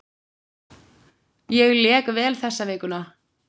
Ég lék vel þessa vikuna.